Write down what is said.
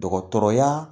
Dɔgɔtɔrɔya